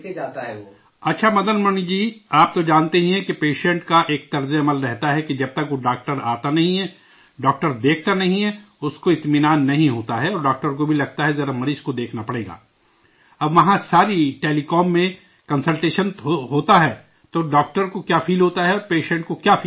اچھا مدن منی جی، آپ تو جانتے ہی ہیں کہ پیشنٹ کا ایک مزاج رہتا ہے کہ جب تک وہ ڈاکٹر آتا نہیں ہے، ڈاکٹر دیکھتا نہیں ہے، اس کو اطمینان نہیں ہوتا ہے اور ڈاکٹر کو بھی لگتا ہے ذرا مریض کو دیکھنا پڑے گا، اب وہاں سارا ہی ٹیلی کام میں کنسلٹیشن ہوتاہ ے تو ڈاکٹر کو کیا فیل ہوتاہ ے، پیشنٹ کو کیا فیل ہوتا ہے؟